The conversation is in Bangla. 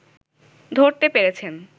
ধরতে পেরেছেন